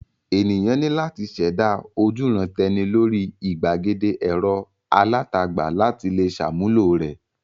Ènìyàn ní láti ṣẹ̀dá ojúuran-tẹni lórí ìgbàgede ẹ̀rọ alátagbà láti le ṣàmúlò rẹ̀.